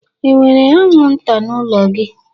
enwere anwụnta n'ụlọ gị?